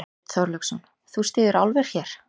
Björn Þorláksson: Þú styður álver hér?